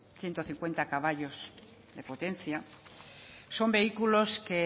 ciento cincuenta caballos de potencia son vehículos